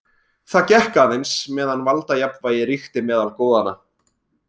Það gekk aðeins meðan valdajafnvægi ríkti meðal goðanna.